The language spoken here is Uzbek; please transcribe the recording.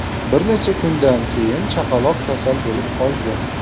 Bir necha kundan keyin chaqaloq kasal bo‘lib qolgan.